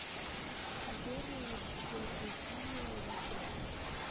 сбер дедвасиль ютуб